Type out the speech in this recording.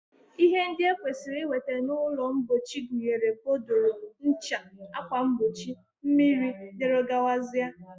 Ihe ndị e kwesịrị inweta n'ụlọmpochi gụnyere bodòrò, ncha, akwamkpochi, mmiri, dg